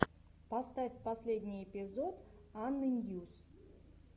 поставь последний эпизод анны ньюс